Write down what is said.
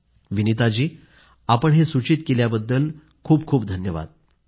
विनीता जी आपण सूचित केल्याबद्दल खूपखूप धन्यवाद